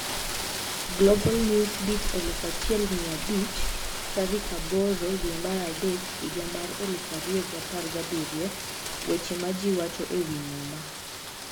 Global Newsbeat 1500 03/08/2017 Weche ma Ji Wacho e Wi Muma